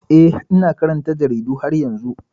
Eh, ina karanta jaridu har yanzu.